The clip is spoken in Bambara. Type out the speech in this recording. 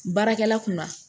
Baarakɛla kunna